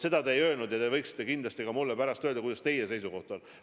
Seda te ei öelnud ja te võiksite kindlasti mulle pärast öelda, milline teie seisukoht on.